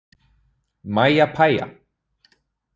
Mæja pæja.